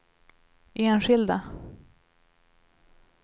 enskilda